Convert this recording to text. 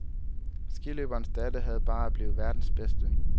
Skiløberens datter havde bare at blive verdens bedste.